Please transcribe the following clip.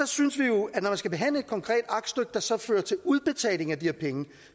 synes jo at når man skal behandle et konkret aktstykke der så fører til udbetaling af de her penge